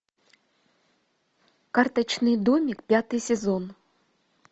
карточный домик пятый сезон